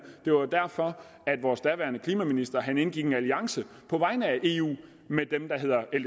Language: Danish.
det var derfor vores daværende klimaminister indgik en alliance på vegne af eu med dem der hedder